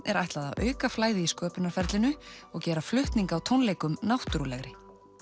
er ætlað að auka flæði í sköpunarferlinu og gera flutning á tónleikum náttúrulegri